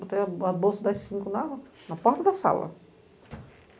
Botei a bolsa das cinco na na porta da sala.